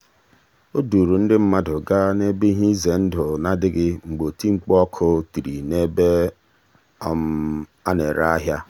o duuru ndị mmadụ gaa n'ebe ihe ize ndụ na-adịghị mgbe oti mkpu ọkụ tiri n'ebe a na-ere ahịa.